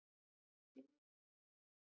Hvar er allt laufið?